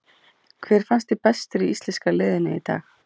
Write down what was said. Hver fannst þér bestur í íslenska liðinu í dag?